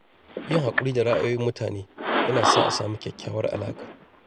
Yin haƙuri da ra’ayoyin mutane yana sa a samu kyakkyawar alaƙa.